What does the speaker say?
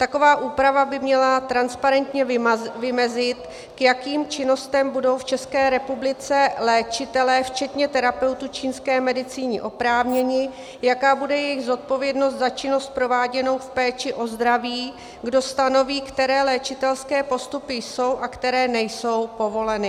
Taková úprava by měla transparentně vymezit, k jakým činnostem budou v České republice léčitelé včetně terapeutů čínské medicíny oprávněni, jaká bude jejich odpovědnost za činnost prováděnou v péči o zdraví, kdo stanoví, které léčitelské postupy jsou a které nejsou povoleny.